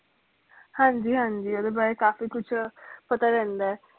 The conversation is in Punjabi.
ਹਾਂਜੀ ਹਾਂਜੀ ਓਹਦੇ ਬਾਰੇ ਕਾਫੀ ਕੁਛ ਪਤਾ ਰਹਿੰਦਾ